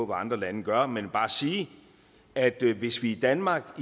andre lande gør men bare sige at hvis vi i danmark